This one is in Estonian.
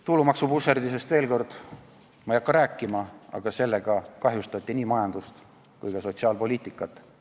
Tulumaksuvusserdisest ei hakka ma veel kord rääkima, aga sellega kahjustati nii majandust kui ka sotsiaalpoliitikat.